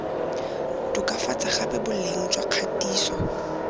tokafatsa gape boleng jwa kgatiso